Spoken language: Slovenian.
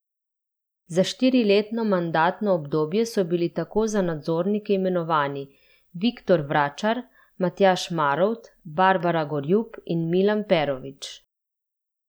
Za štiriletno mandatno obdobje so bili tako za nadzornike imenovani Viktor Vračar, Matjaž Marovt, Barbara Gorjup in Milan Perovič.